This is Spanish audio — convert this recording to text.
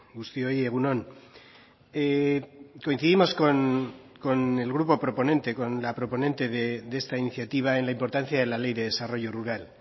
guztioi egun on coincidimos con el grupo proponente con la proponente de esta iniciativa en la importancia de la ley de desarrollo rural